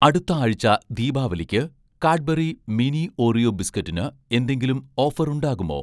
അടുത്ത ആഴ്ച ദീപാവലിക്ക് 'കാഡ്ബറി മിനി ഓറിയോ' ബിസ്കറ്റിന് എന്തെങ്കിലും ഓഫർ ഉണ്ടാകുമോ